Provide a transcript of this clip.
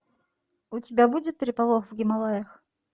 у тебя будет переполох в гималаях